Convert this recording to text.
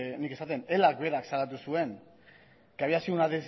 nik esaten ela berak salatu zuen que había sido una